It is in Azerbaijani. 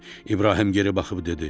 İbrahim geri baxıb dedi: